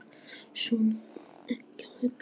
Svona á ekki að hugsa.